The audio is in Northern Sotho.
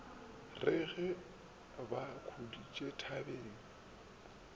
re ge ba khuditše thabeng